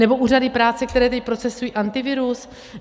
Nebo úřady práce, které teď procesují Antivirus?